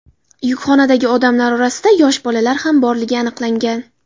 Yukxonadagi odamlar orasida yosh bolalar ham borligi aniqlangan.